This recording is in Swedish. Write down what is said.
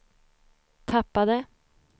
tappade